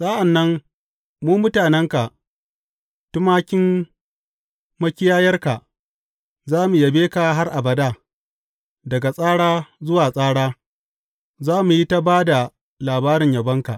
Sa’an nan mu mutanenka, tumakin makiyayarka, za mu yabe ka har abada; daga tsara zuwa tsara za mu yi ta ba da labarin yabonka.